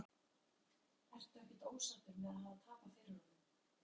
Breki: Ertu ekkert ósáttur með að hafa tapað fyrir honum?